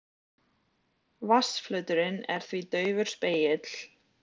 Vatnsflöturinn er því daufur spegill.